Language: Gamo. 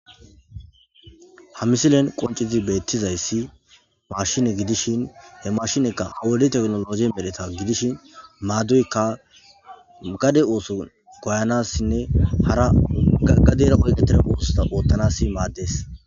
Ha misilen qoncizi beettizayssi mashine gidishin he mashinekka awuedi teknologi medeta gidishin maaduyekka gade ooso goyanassinne hara gaggadera qonqeteremoosta oottanassi maaddes